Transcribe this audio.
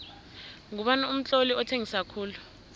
ngubani umtloli othengisa khulu